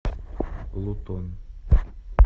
лутон